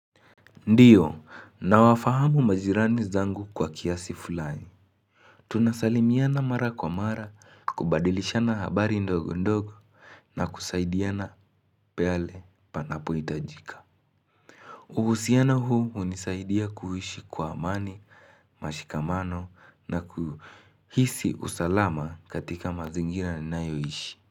Ndiyo nawafahamu majirani zangu kwa kiasi fulani tunasalimiana mara kwa mara kubadilishana habari ndogo ndogo na kusaidiana pale panapohitajika uhusiano huu hunisaidia kuishi kwa amani mashikamano na kuhisi usalama katika mazingira ninayoishi.